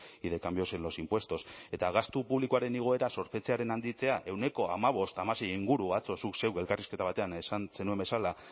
y de cambios en los impuestos eta gastu publikoaren igoera zorpetzearen handitzea ehuneko hamabosthamasei inguru atzo zuk zeuk elkarrizketa batean esan zenuen bezala